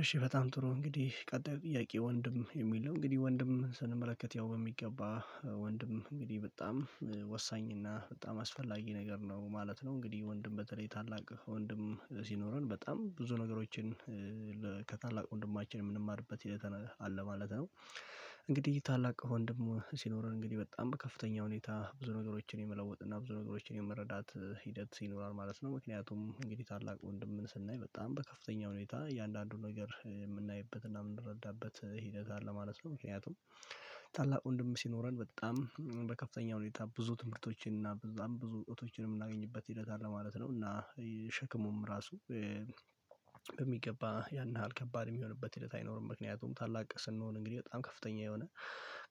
እሺ በጣም ጥሩ እንግዲህ ቀጣዩ ጥያቄ ወንድም ነው የሚለው እንግዲህ ወንድም ስንመለከት ያው በሚገባ ወንድም እንግዲህ በጣም ወሳኝ እና በጣም አስፈላጊ ነገር ነው ማለት ነው። እንግዲህ ወንድም በተለይ ታላቅ ወንድም ሲኖረን በጣም ብዙ ነገሮችን ከታላቅ ወንድማችን የምንማርበት ሂደት አለ ማለት ነው። እንግዲህ ይሄ ታላቅ ወንድሙ ሲኖረን እንግዲህ በጣም በከፍተኛ ሁኔታ ብዙ ነገሮችን የመለወጥና ብዙ ነገሮችን የመረዳት ሂደት ይኖራል ማለት ነው። ምክንያቱም እንግዲህ ታላቅ ወንድምን ስናይ በጣም በከፍተኛ ሁኔታ እያንዳንዱን ነገር የምናይበት እና የምንረዳበት ሂደት አለ ማለት ነው። ምክንያቱም ታላቅ ወንድም ሲኖረን በጣም በከፍተኛ ሁኔታ ብዙ ትምህርቶችን እና ብዙ እውቀቶችንም የምናገኝበት ሂደት አለ ማለት ነው። እና ሸክሙም ራሱ በሚገባ ያን ያህል ከባድ የሚሆንበት ሂደት አይኖርም። ምክንያቱም ታላቅ ስንሆን እንግዲህ በጣም ከፍተኛ የሆነ